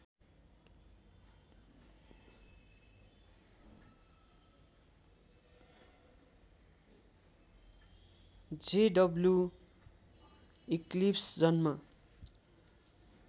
JW eclipse जन्म